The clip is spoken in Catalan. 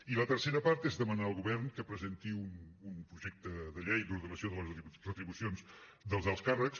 i la tercera part és demanar al govern que presenti un projecte de llei d’ordenació de les retribucions dels alts càrrecs